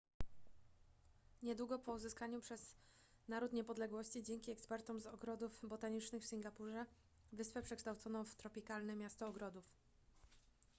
niedługo po uzyskaniu przez naród niepodległości dzięki ekspertom z ogrodów botanicznych w singapurze wyspę przekształcono w tropikalne miasto ogrodów